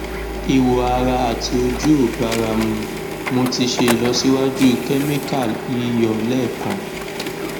iwo ara ati oju o bara mu mo ti se ilosiwaju chemical yiyo lekan